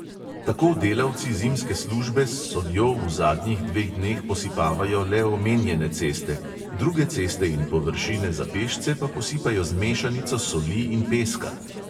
Tako delavci zimske službe s soljo v zadnjih dveh dneh posipavajo le omenjene ceste, druge ceste in površine za pešce pa posipajo z mešanico soli in peska.